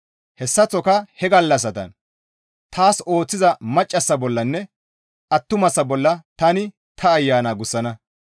Hessaththoka he gallassatan taas ooththiza maccassa bollanne attumasa bolla tani ta Ayana gussana.